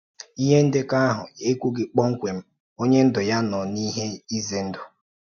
Ihe ndekọ ahụ ekwughị kpọmkwem onye ndu ya nọ n’ihe ize ndụ.